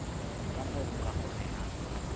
ka moo ho ka kgonehang